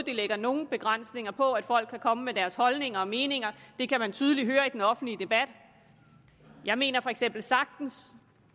lægger nogle begrænsninger på at folk kan komme med deres holdninger og meninger det kan man tydeligt høre i den offentlige debat jeg mener for eksempel sagtens